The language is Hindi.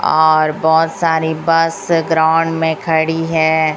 और बहुत सारी बस ग्राउंड में खड़ी है।